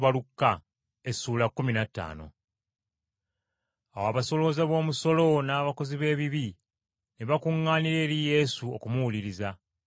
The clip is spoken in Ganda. Awo abasolooza b’omusolo n’abakozi b’ebibi ne bakuŋŋaanira eri Yesu okumuwuliriza.